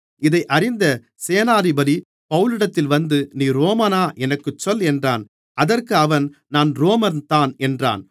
இதை அறிந்த சேனாதிபதி பவுலிடத்தில் வந்து நீ ரோமனா எனக்குச் சொல் என்றான் அதற்கு அவன் நான் ரோமன்தான் என்றான்